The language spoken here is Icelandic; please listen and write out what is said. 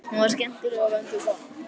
Hún var skemmtileg og vönduð kona.